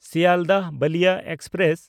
Sealdah Ballia express